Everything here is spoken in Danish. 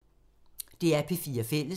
DR P4 Fælles